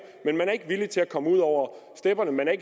men man er ikke villig til at komme ud over stepperne man er